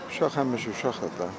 Uşaq həmişə uşaqdır da.